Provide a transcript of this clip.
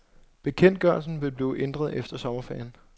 Bekendtgørelsen vil blive ændret efter sommerferien.